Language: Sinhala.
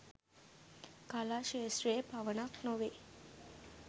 කලා ක්ෂේත්‍රයේ පමණක් නොවෙයි